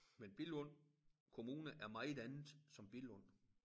Men Billund Kommune er meget andet som Billund